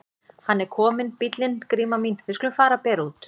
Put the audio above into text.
Hann er kominn bíllinn Gríma mín, við skulum fara að bera út.